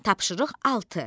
Tapşırıq altı.